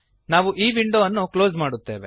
ನಾವು ಈ ವಿಂಡೋ ಅನ್ನು ಕ್ಲೋಸ್ ಮಾಡುತ್ತೇವೆ